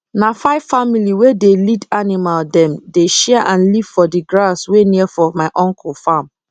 na five family wey dey lead animal dem dey share and live for d grass wey near for my uncle farm